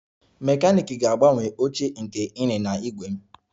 Mekaniiki ga-agbanwe oche nke ịnyịnya ígwè m